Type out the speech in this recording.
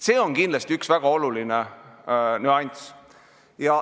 See on kindlasti üks väga oluline nüanss.